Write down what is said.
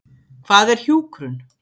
Hvað er hjúkrun?